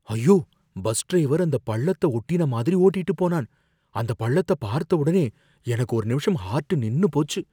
ஐயோ, bus driver அந்தப் பள்ளத்த ஒட்டின மாதிரி ஓட்டிட்டு போனான், அந்த பள்ளத்த பார்த்த உடனே எனக்கு ஒரு நிமிஷம் ஹார்ட் நின்னு போச்சு